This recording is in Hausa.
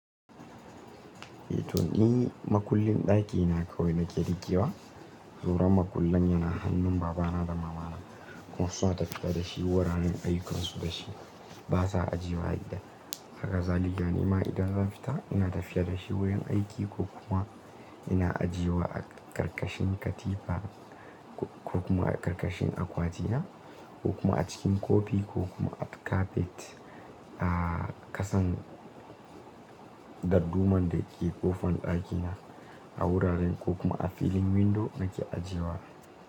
Eh, tun ɗin makullin ɗakina kawai nake rikewa. Sauran makullan yana hannun babana da mamana kuma su na tafiya da shi wuraren aikinsu da shi. Basa ajiye wa a gida. Hakazaliga ni ma idan zan fita ina tafiya da shi wurin aiki ko kuma ina ajiye wa a ƙarƙashin katifa ko kuma a ƙarƙashin akwatiya ko kuma a cikin kofi ko kuma a kafet a kasan dadduman da ke ƙofan ɗakina a wuraren ko kuma a filin window nake ajiye wa.